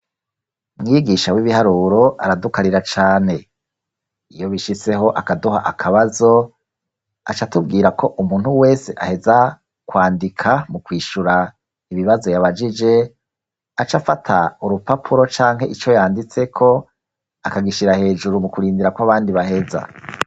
Mwigisha w'ibiharuro aradukarira cane iyo bishitse ho akaduha akabazo aca atubwira ko umuntu wese aheza kwandika mu kwishura ibibazo yabajije aca afata urupapuro canke ico yanditse ko akagishira hejuru mu kurindira ko abandi baheza.